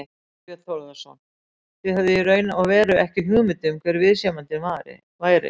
Þorbjörn Þórðarson: Þið höfðum í raun og veru ekki hugmynd um hver viðsemjandinn væri?